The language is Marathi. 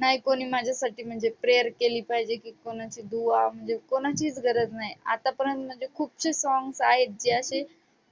नाही कोणी माझ्यासाठी म्हणजे prayer केली पाहिजे की कोणाशी दुआ म्हणजे कोणाचीच गरज नाही. आत्तापर्यंत म्हणजे खुपसे songs आहेत ते अशे